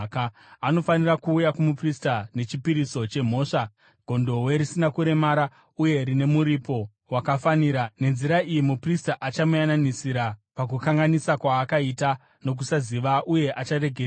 Anofanira kuuya kumuprista nechipiriso chemhosva gondobwe risina kuremara uye rine muripo wakafanira. Nenzira iyi muprista achamuyananisira pakukanganisa kwaakaita nokusaziva, uye acharegererwa.